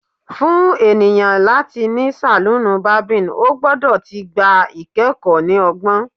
Fun eniyan lati ni saloon barbing, o gbọdọ ti gba ikẹkọ ni ọgbọn